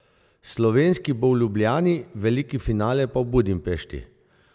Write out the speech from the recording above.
Slovenski bo v Ljubljani, veliki finale pa v Budimpešti.